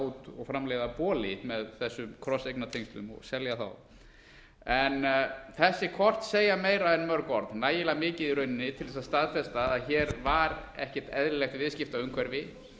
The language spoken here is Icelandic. út og framleiða boli með þessum krosseignartengslum og selja þá þessi kort segja meira en mörg orð nægilega mikið í rauninni til þess að staðfesta að hér var ekkert eðlilegt viðskiptaumhverfi